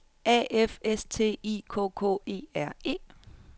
A F S T I K K E R E